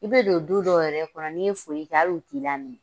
I bɛ don du dɔ yɛrɛ kɔnɔ n'i ye foli kɛ hali o t'i laminɛ.